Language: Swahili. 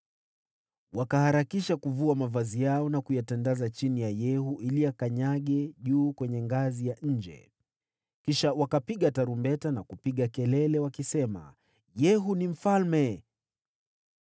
Wakaharakisha kuvua mavazi yao, na kuyatandaza chini ya Yehu ili akanyage juu kwenye ngazi ya nje. Kisha wakapiga tarumbeta na kupaza sauti wakisema, “Yehu ni mfalme!”